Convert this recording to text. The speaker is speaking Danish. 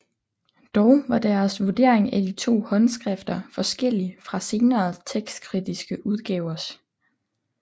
Dog var deres vurdering af de to håndskrifter forskellig fra senere tekstkritiske udgavers